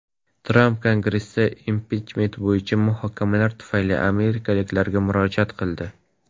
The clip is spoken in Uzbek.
Tramp Kongressdagi impichment bo‘yicha muhokamalar tufayli amerikaliklarga murojaat qildi.